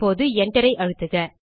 இப்போது Enter ஐ அழுத்துக